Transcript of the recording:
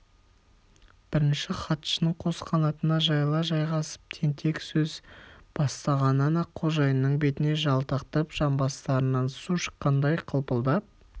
бірінші хатшының қос қанатына жайыла жайғасып тентек сөз басталғаннан-ақ қожайынның бетіне жалтақтап жамбастарынан су шыққандай қылпылдап